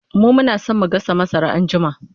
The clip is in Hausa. mu Muna San mu gasa masara anjima